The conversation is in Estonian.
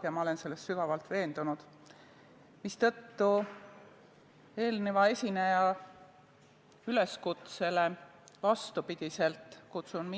Mina olen selles sügavalt veendunud ja vastupidi eelmise esineja üleskutsele kutsun